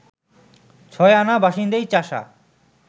ছয় আনা বাসিন্দাই চাষা